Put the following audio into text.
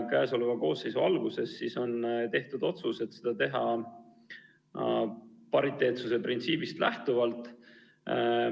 Selle koosseisu töö alguses on tehtud otsus, et seda võiks teha pariteetsuse printsiibist lähtuvalt.